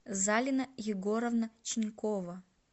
залина егоровна чинькова